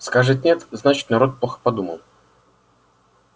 скажет нет значит народ плохо подумал